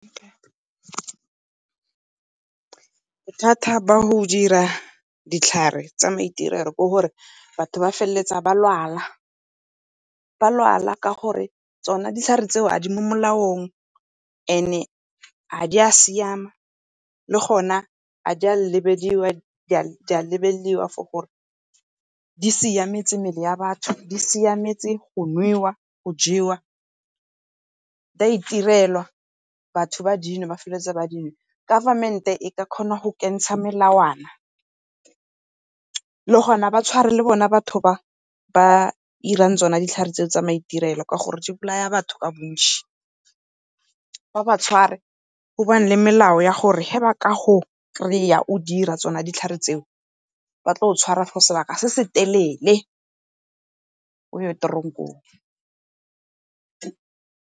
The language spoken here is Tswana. Bothata ba go dira ditlhare tsa maitirelo ke gore batho ba feleletsa ba lwala, ba lwala ka gore tsona ditlhare tseo ga di mo molaong and-e ga di a siama, le gona ga di a lebediwa for gore di siametse mebele ya batho, di siametse go nwewa, go jewa di a itirelwa batho ba dinwa ba feleletse ba . Government-e e ka kgona go kentsha melawana le gona ba tshware le bona batho ba irang tsona ditlhare tse tsa maitirelo gore di bolaya batho ka botšhi. Ba ba tshware go nne le melao ya gore, ge ba ka go kry-a o di ira tsona ditlhare tseo ba tlo go tshwara for sebaka se se telele o ye tronkong.